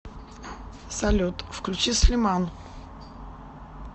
салют включи слиман